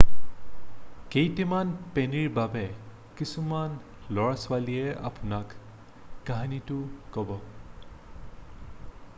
কেইটামান পেনীৰ বাবে কিছুমান ল'ৰা-ছোৱালীয়ে আপোনাক কাহিনীটো ক'ব